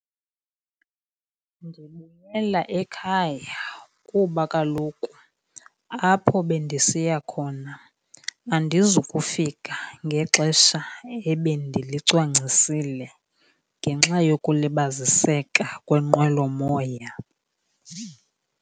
Ndibuyela ekhaya kuba kaloku apho bendisiya khona andizukufika ngexesha ebendilicwangcisile ngenxa yokulibaziseka kwenqwelomoya.